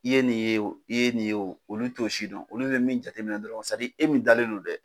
I ye nin ye wo i ye nin ye o olu t'o sidɔn olu bɛ min jateminɛ dɔrɔn e min dalen don dɛ.